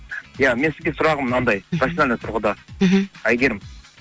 иә мен сізге сұрағым мынандай профессионально тұрғыда мхм әйгерім